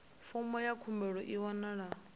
fomo ya khumbelo i wanalaho